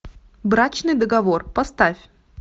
брачный договор поставь